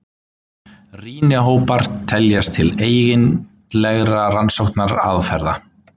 Rýnihópar teljast til eigindlegra rannsóknaraðferða.